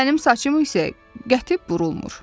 Mənim saçım isə qəti burulmur.